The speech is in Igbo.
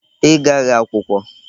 Ị gaghị akwụkwọ?